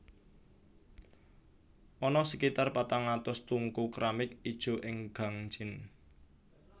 Ana sekitar patang atus tungku kramik ijo ing Gangjin